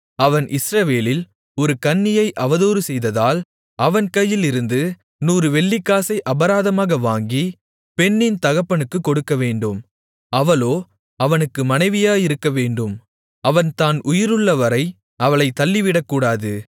அவன் இஸ்ரவேலில் ஒரு கன்னியை அவதூறுசெய்ததால் அவன் கையிலிருந்து நூறு வெள்ளிக்காசை அபராதமாக வாங்கி பெண்ணின் தகப்பனுக்குக் கொடுக்கவேண்டும் அவளோ அவனுக்கு மனைவியாயிருக்க வேண்டும் அவன் தான் உயிருள்ளவரை அவளைத் தள்ளிவிடக்கூடாது